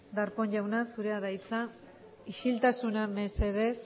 darpón jauna zurea da hitza isiltasuna mesedez